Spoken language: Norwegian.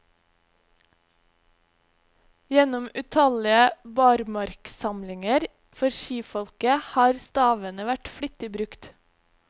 Gjennom utallige barmarksamlinger for skifolket har stavene vært flittig brukt.